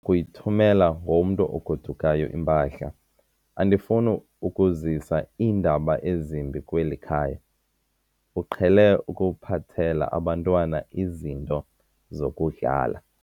kuyithumela ngomntu ogodukayo impahla. andifuni ukuzisa iindaba ezimbi kweli khaya, uqhele ukuphathela abantwana izinto zokudlala